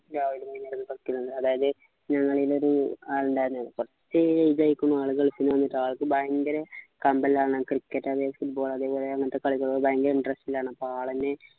രാവിലെം വൈന്നേരവും ഒക്കെ കളിക്കും അതായത് ഞങ്ങളെയിലൊരു ആളുണ്ടായിരുന്നു കുറച്ചു ഇതായിക്കുന്നു ആള് ഗൾഫിൽ ന്നു വന്നിട്ട് ആൾക്ക് ഭയങ്കര കമ്പല്ലാണ് cricket ല്ലെങ്കിൽ football അതേപോലെ അങ്ങനത്തെ കളികള് ഭയങ്കര interest ലാണ് അപ്പൊ ആളെന്നെ